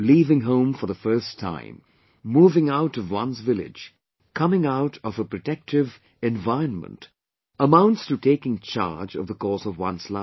Leaving home for the first time, moving out of one's village, coming out of a protective environment amounts to taking charge of the course of one's life